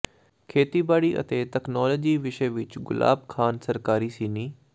ਖੇਤੀਬਾੜੀ ਅਤੇ ਤਕਨਾਲੋਜੀ ਵਿਸ਼ੇ ਵਿਚ ਗੁਲਾਬ ਖਾਨ ਸਰਕਾਰੀ ਸੀਨੀ